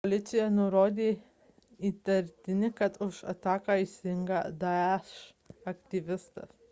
policija nurodė įtarianti kad už ataką atsakingas daesh isil aktyvistas